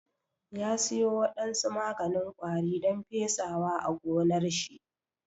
Ya siyo wadansu maganin ƙwari don pesawa a gonnar shi